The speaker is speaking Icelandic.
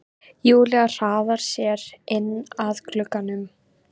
Júlía hraðar sér inn að glugganum.